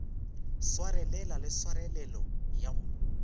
swarelela le tshwarelelo ya go